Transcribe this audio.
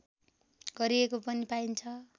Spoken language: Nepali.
गरिएको पनि पाइन्छ